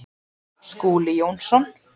Skúli Jónsson